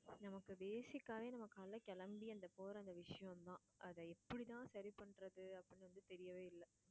நமக்கு basic ஆவே நம்ம காலையில கிளம்பி போற அந்த விஷயம் தான் அதை எப்படித்தான் சரிபண்றதுன்னு அப்படின்னு வந்து தெரியவே இல்ல